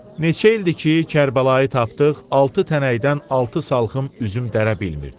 Neçə ildir ki, Kərbəlayı tapdıq altı tənəkdən altı salxım üzüm dərə bilmirdi.